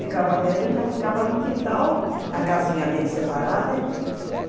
Ficava velho, ele já ficava no quintal, a casinha dele separada e tudo.